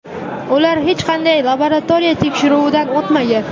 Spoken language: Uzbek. Ular hech qanday laboratoriya tekshiruvidan o‘tmagan.